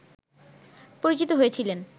পরিচিত হয়েছিলেন